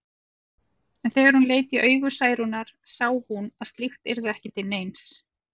En þegar hún leit í augu Særúnar sá hún að slíkt yrði ekki til neins.